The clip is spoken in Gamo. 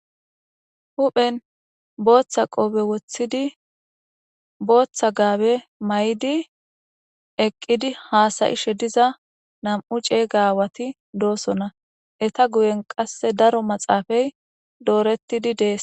huphen booththa qoobe woththidi booththa gaabe may7idi eqqidi haasayi shediza nam7u ceey gaawati doosonna eta guyen qasse daro maxaafay doorettidi dees